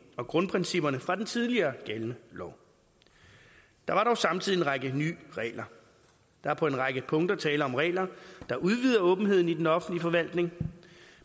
og grundprincipperne fra den tidligere gældende lov der var dog samtidig en række nye regler der er på en række punkter tale om regler der udvider åbenheden i den offentlige forvaltning